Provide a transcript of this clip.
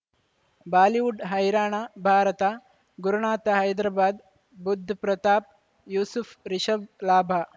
Bollywood ಹೈರಾಣ ಭಾರತ ಗುರುನಾಥ ಹೈದರಾಬಾದ್ ಬುಧ್ ಪ್ರತಾಪ್ ಯೂಸುಫ್ ರಿಷಬ್ ಲಾಭ